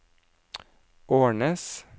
Ornes